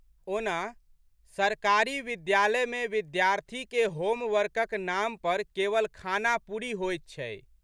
ओना, सरकारी विद्यालयमे विद्यार्थीकेँ होम वर्कक नाम पर केवल खानापुरी होइत छै।